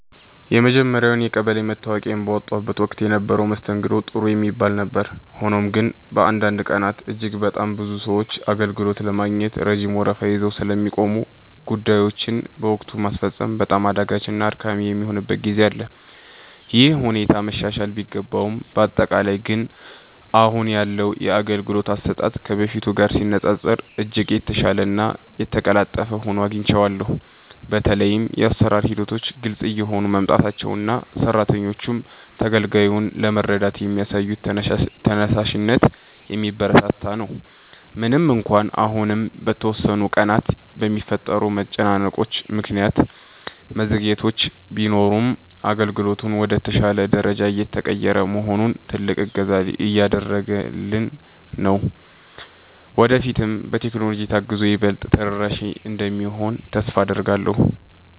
የመጀመርያውን የቀበሌ መታወቂያዬን ባወጣሁበት ወቅት የነበረው መስተንግዶ ጥሩ የሚባል ነበር። ሆኖም ግን፣ በአንዳንድ ቀናት እጅግ በጣም ብዙ ሰዎች አገልግሎት ለማግኘት ረጅም ወረፋ ይዘው ስለሚቆሙ፣ ጉዳዮችን በወቅቱ ማስፈጸም በጣም አዳጋችና አድካሚ የሚሆንበት ጊዜ አለ። ይህ ሁኔታ መሻሻል ቢገባውም፣ በአጠቃላይ ግን አሁን ያለው የአገልግሎት አሰጣጥ ከበፊቱ ጋር ሲነፃፀር እጅግ የተሻለና የተቀላጠፈ ሆኖ አግኝቼዋለሁ። በተለይም የአሰራር ሂደቶች ግልጽ እየሆኑ መምጣታቸውና ሰራተኞቹም ተገልጋዩን ለመርዳት የሚያሳዩት ተነሳሽነት የሚበረታታ ነው። ምንም እንኳን አሁንም በተወሰኑ ቀናት በሚፈጠሩ መጨናነቆች ምክንያት መዘግየቶች ቢኖሩም፣ አገልግሎቱ ወደ ተሻለ ደረጃ እየተቀየረ መሆኑ ትልቅ እገዛ እያደረገልን ነው። ወደፊትም በቴክኖሎጂ ታግዞ ይበልጥ ተደራሽ እንደሚሆን ተስፋ አደርጋለሁ።